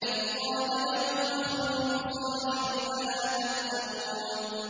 إِذْ قَالَ لَهُمْ أَخُوهُمْ صَالِحٌ أَلَا تَتَّقُونَ